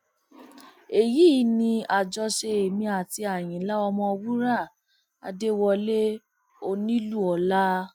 èyí ni àjọṣe èmi àti àyínlá ọmọwúrà adéwọlẹ onílùọlá